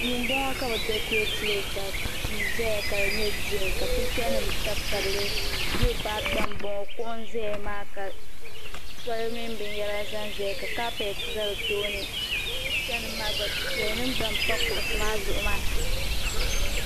Duu m bo ŋɔ ka bɛ dakureetili ka tii zaya ka di nye gireen ka pichanim tabitabili liopad gba m bo ŋɔ kuɣu n zaya maa toli mini binyara zanzaya ka kaapiɛte za di tooni pichanim maa gba difiɛyanima gba m pa kuɣusi maa zuɣu maa.